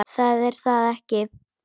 Það er ekki það.